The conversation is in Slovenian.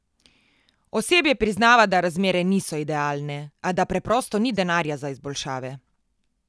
Osebje priznava, da razmere niso idealne, a da preprosto ni denarja za izboljšave.